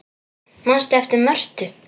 Manstu eftir Mörtu?